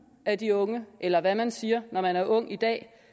af de unge eller hvad man siger når man er ung i dag